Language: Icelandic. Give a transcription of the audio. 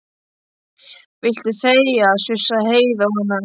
Viltu þegja, sussaði Heiða á hana.